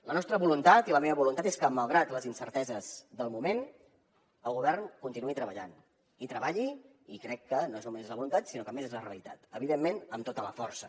la nostra voluntat i la meva voluntat és que malgrat les incerteses del moment el govern continuï treballant i treballi i crec que no només és la voluntat sinó que també és la realitat evidentment amb tota la força